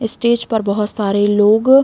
इस स्टेज पर बहुत सारे लोग --